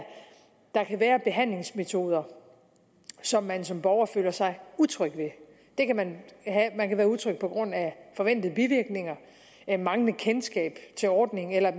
der kan være behandlingsmetoder som man som borger føler sig utryg ved man kan være utryg på grund af forventede bivirkninger manglende kendskab til ordningen eller